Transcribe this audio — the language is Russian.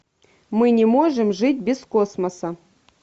мы не можем жить без космоса